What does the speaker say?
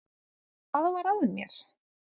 Hvað var að mér?